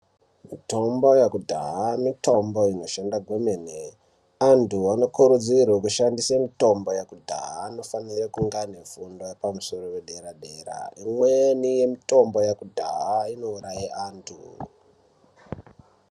Mitombo yekudhaya mitombo inoshanda kwemene. Antu anokurudzirwa kushandisa mitombo yekudhaya anofanira kunge ane fundo yepadera-dera. Imweni mitombo yekudhaya inouraya antu.